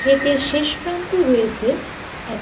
ক্ষেতের শেষ প্রান্তে রয়েছে এক--